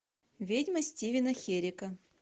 ведьма стивена херека